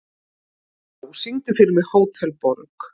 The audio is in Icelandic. Gná, syngdu fyrir mig „Hótel Borg“.